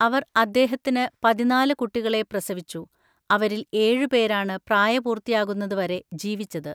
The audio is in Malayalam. അവർ അദ്ദേഹത്തിന് പതിനാല് കുട്ടികളെ പ്രസവിച്ചു, അവരിൽ ഏഴു പേരാണ് പ്രായപൂർത്തിയാകുന്നത് വരെ ജീവിച്ചത്.